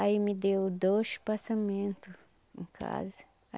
Aí me deu dois passamento em casa.